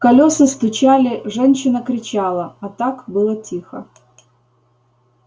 колёса стучали женщина кричала а так было тихо